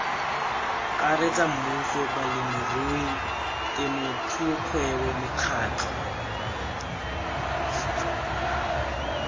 karetsa mmuso balemirui temothuokgwebo mekgatlho